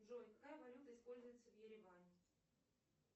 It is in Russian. джой какая валюта используется в ереване